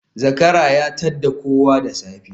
Zakara ya tadda kowa da safe